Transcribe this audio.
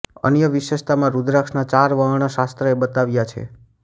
અન્ય વિશેષતામાં રુદ્રાક્ષના ચાર વર્ણ શાસ્ત્રએ બતાવ્યા છે